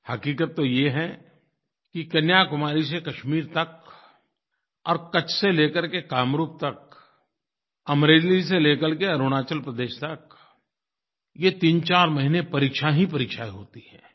हक़ीक़त तो ये है कि कन्याकुमारी से कश्मीर तक और कच्छ से ले करके कामरूप तक अमरेली से ले करके अरुणाचल प्रदेश तक ये तीनचार महीने परीक्षा ही परीक्षायें होती हैं